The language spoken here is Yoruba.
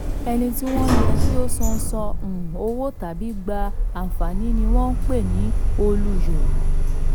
ẹni tí wọ́n yẹ kí ó san san um owó tàbí gba àǹfààní ni wọ́n ń pè ní olùyọ.